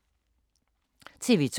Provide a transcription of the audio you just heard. TV 2